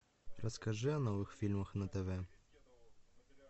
расскажи о новых фильмах на тв